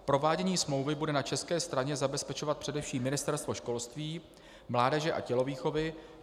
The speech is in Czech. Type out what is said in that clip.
Provádění smlouvy bude na české straně zabezpečovat především Ministerstvo školství, mládeže a tělovýchovy.